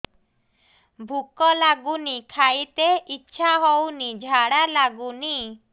ଭୁକ ଲାଗୁନି ଖାଇତେ ଇଛା ହଉନି ଝାଡ଼ା ଲାଗୁନି